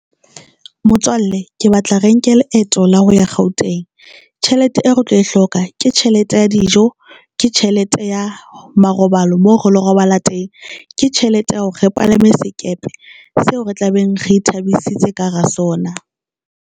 Motswalle ke batla re nke leeto la ho ya Gauteng. Tjhelete eo re tlo e hloka ke tjhelete ya dijo ke tjhelete ya marobalo moo re lo robala teng, ke tjhelete ya hore re palame sekepe seo re tlabeng re ithabisa ka hara sona.